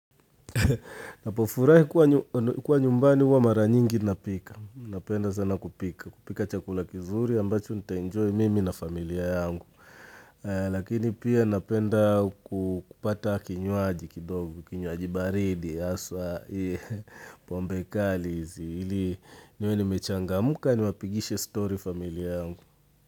Napofurahi kuwa nyumbani huwa mara nyingi napika. Napenda sana kupika. Kupika chakula kizuri ambacho nitaenjoy mimi na familia yangu. Lakini pia napenda kupata kinywaji kidogo, kinywaji baridi haswa hii pombe kali ili niwe nimechangamka niwapigishe story familia yangu.